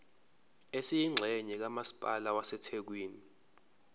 esiyingxenye kamasipala wasethekwini